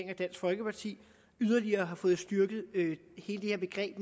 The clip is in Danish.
og dansk folkeparti yderligere har fået styrket hele